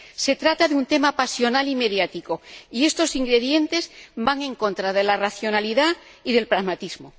Se trata de un tema pasional y mediático, y estos ingredientes van en contra de la racionalidad y del pragmatismo.